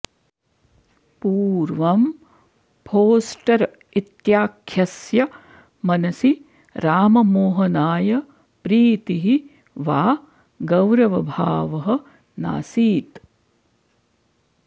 पूर्वं फोस्टर् इत्याख्यस्य मनसि राममोहनाय प्रीतिः वा गौरवभावः नासीत्